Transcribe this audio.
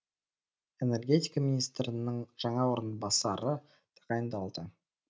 энергетика министрінің жаңа орынбасары тағайындалды